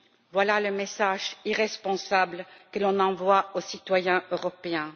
Voilà le message irresponsable que l'on envoie aux citoyens européens.